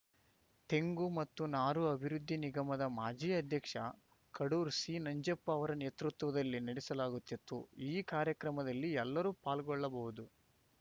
ತೆಂಗು ಮತ್ತು ನಾರು ಅಭಿವೃದ್ಧಿ ನಿಗಮದ ಮಾಜಿ ಅಧ್ಯಕ್ಷ ಕಡೂರು ಸಿನಂಜಪ್ಪ ಅವರ ನೇತೃತ್ವದಲ್ಲಿ ನಡೆಸಲಾಗುತ್ತಿತ್ತು ಈ ಕಾರ್ಯಕ್ರಮದಲ್ಲಿ ಎಲ್ಲರೂ ಪಾಲ್ಗೊಳ್ಳಬಹುದು